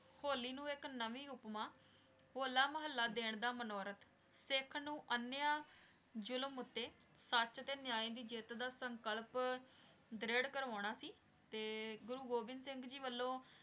ਹੋਲੀ ਨੂ ਏਇਕ ਨਵੀ ਉਪਮਾ ਹੋਲਾ ਮੁਹਲਾ ਦੇਣ ਦਾ ਉਪਮਾ ਸਿਖ ਨੂ ਅਨ੍ਯ ਜ਼ੁਲਮ ਓਤੇ ਸਚ ਟੀ ਨਯੀ ਦੀ ਜੀਤ ਦਾ ਸੰਕਲਪ ਦ੍ਰੇਰ ਕਰਵਾਨਾ ਸੀ ਤੇ ਗੁਰੂ ਗੋਵਿੰਦ ਸਿੰਘ ਜੀ ਵਲੋਂ